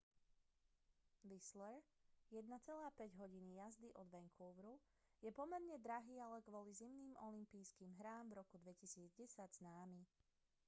whistler 1,5 hodiny jazdy od vancouveru je pomerne drahý ale kvôli zimným olympijským hrám v roku 2010 známy